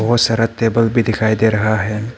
बहुत सारा टेबल भी दिखाई दे रहा है।